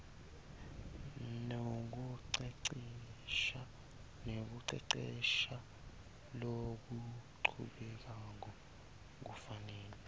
nekucecesha lokuchubekako kufanele